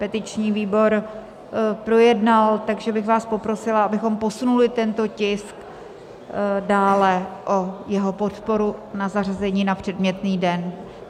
Petiční výbor projednal, takže bych vás poprosila, abychom posunuli tento tisk dále, o jeho podporu na zařazení na předmětný den.